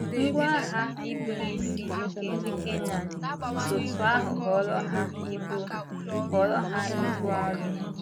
Ngwá agha ị bụ́ n'isi nke ndị Kenan si otú ahụ ghọọrọ ha ibu ghọọrọ ha ibu arọ.